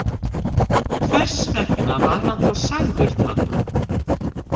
Hvers vegna var hann þá sagður það?